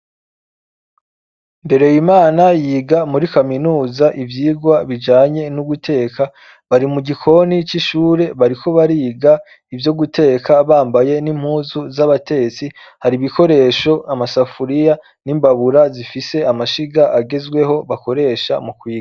Mbereyimana yiga muri kaminuza ivyigwa bijanye no guteka bari mu gikoni c'ishure bariko bariga ivyo guteka bambaye n'impuzu z'abatetsi, hari ibikoresho amasafuriya n'imbabura zifise amashiga agezweho bakoresha mu kwiga.